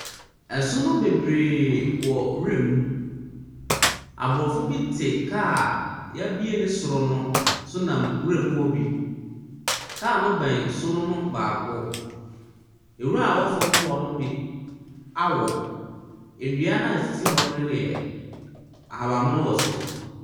Ɛsono beberee wɔ nwura mu, abrɔfo ti kaa yɛ bue ne soro no ɛnam nwura mu hɔ bi. Kaa no bɛn sono no baako. Nwura a ɛwɔ fom hɔ no bi awo. Ndua na esisi hɔ no deɛ, ahabanmono wɔ so.